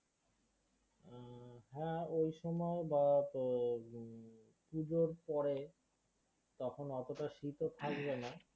হাঁ ওই সময় বা তোর হম পুজোর পরে তখন অতটা শীতও থাকবে না